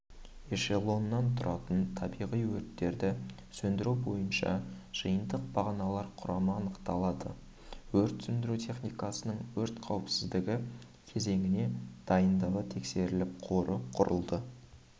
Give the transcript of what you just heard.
эшелоннан тұратын табиғи өрттерді сөндіру бойынша жиынтық бағаналар құрамы анықталды өрт сөндіру техникасының өрт қауіпсіздігі кезеңіне дайындығы тексеріліп қоры құрылды